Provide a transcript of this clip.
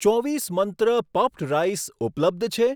ચોવીસ મંત્ર puffed rice ઉપલબ્ધ છે?